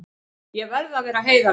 Ég verð að vera heiðarlegur.